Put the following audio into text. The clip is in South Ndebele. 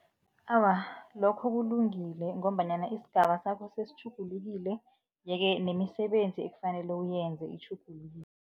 Awa, lokho kulungile ngombanyana isigaba sakho sesitjhugulukile yeke nemisebenzi ekufanele uyenze itjhugulukile.